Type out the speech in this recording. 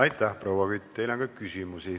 Aitäh, proua Kütt, teile on ka küsimusi.